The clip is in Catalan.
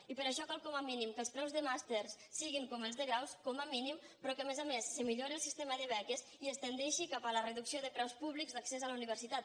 i per això cal com a mínim que els preus de màsters siguin com els de graus com a mínim però que a més a més es millori el sistema de beques i es tendeixi cap a la reducció de preus públics d’accés a la universitat